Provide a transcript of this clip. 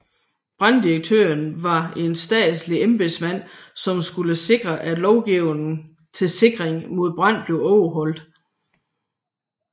Branddirektør var en statslig embedsmand som skulle sikre at lovgivning til sikring mod brand blev overholdt